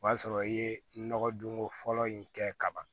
O y'a sɔrɔ i ye nɔgɔdonko fɔlɔ in kɛ ka ban